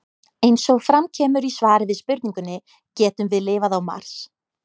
Eins og fram kemur í svari við spurningunni Getum við lifað á Mars?